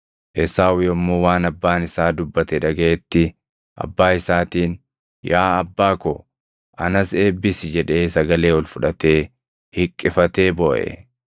Esaawu yommuu waan abbaan isaa dubbate dhagaʼetti, abbaa isaatiin, “Yaa abbaa ko, anas eebbisi!” jedhee sagalee ol fudhatee hiqqifatee booʼe.